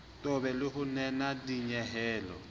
qobe le ho nena dinyehelo